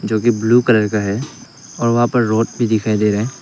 जो कि blue colour का है और वहां पर रोड भी दिखाई दे रहा है।